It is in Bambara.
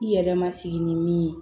I yɛrɛ ma sigi ni min ye